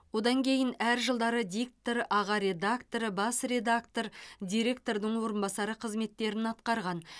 одан кейін әр жылдары диктор аға редактор бас редактор директордың орынбасары қызметтерін атқарған